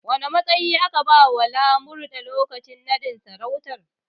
Wane matsayi aka bawa Lamurde lokacin naɗin sarautar?